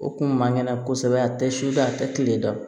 O kun man kɛnɛ kosɛbɛ a tɛ sufɛ a tɛ kile dɔn